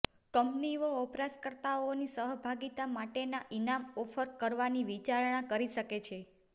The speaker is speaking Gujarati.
કંપનીઓ વપરાશકર્તાઓની સહભાગિતા માટેના ઇનામ ઓફર કરવાની વિચારણા કરી શકે છે